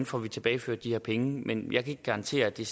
får tilbageført de her penge men jeg kan ikke garantere at det